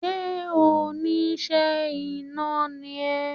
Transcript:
Sé oníṣẹ́ iná ni ẹ?